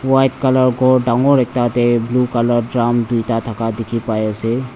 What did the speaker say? white colour khor dangor ekta tae blue colour drum tuita thaka dikhipaiase.